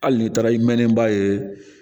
Hali n'i taara i mɛnnen ba ye